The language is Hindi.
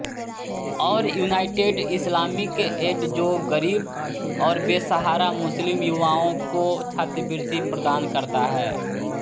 और यूनाइटेड इस्लामिक एड जो गरीब और बेसहारा मुस्लिम युवाओं को छात्रवृत्ति प्रदान करता हैं